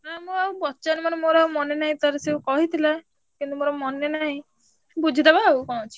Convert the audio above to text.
ନା ମୁଁ ଆଉ ପଚାରିନି ମୋର ମୋର ଆଉ ମନେ ନାହିଁ ତାର ସିଏ କହିଥିଲା। କିନ୍ତୁ ମୋର ମନେ ନାହିଁ। ବୁଝିଦବା ଆଉ କଣ ଅଛି।